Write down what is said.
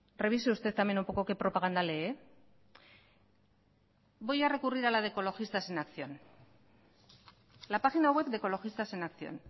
revise usted también un poco que propaganda lee voy a recurrir a la de ecologistas en acción la página web de ecologistas en acción